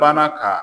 Banna ka